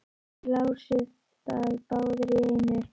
Þeir lásu það báðir í einu.